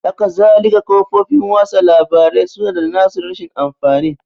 Hakazalika kafofin watsa labarai su na da na su rashin amfanin